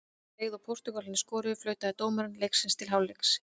Leið og Portúgalarnir skoruðu, flautaði dómari leiksins til hálfleiks.